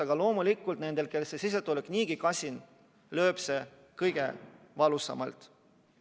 Aga loomulikult neid, kellel on sissetulek niigi kasin, lööb see kõige valusamalt.